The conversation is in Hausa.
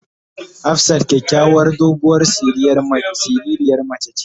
Hafsat kyakyawar doguwar siririn mace ce.